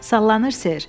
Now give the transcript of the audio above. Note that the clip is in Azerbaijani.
Sallanır, Ser.